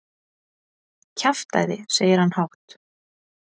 Kjaftæði, segir hann hátt.